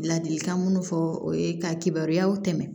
Ladilikan minnu fɔ o ye ka kibaruyaw tɛmɛ